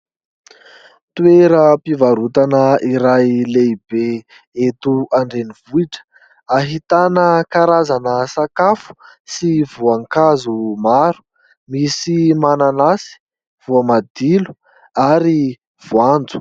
Toeram-pivarotana iray lehibe eto an-drenivohitra ahitana karazana sakafo sy voankazo maro misy mananasy, voamadilo ary voanjo.